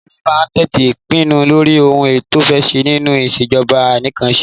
Olórí máa ń tètè pinnu lórí ohun to fé ṣẹ nínú ìṣèjọba anìkànpàṣẹ.